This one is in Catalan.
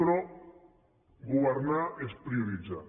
però governar és prioritzar